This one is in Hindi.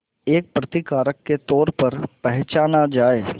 एक प्रतिकारक के तौर पर पहचाना जाए